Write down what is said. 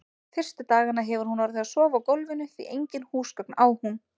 Fyrstu dagana hefur hún orðið að sofa á gólfinu, því engin húsgögn á hún.